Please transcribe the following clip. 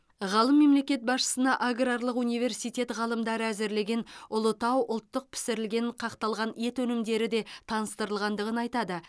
ғалым мемлекет басшысына аграрлық университет ғалымдары әзірлеген ұлытау ұлттық пісірілген қақталған ет өнімдері де таныстырылғандығын айтады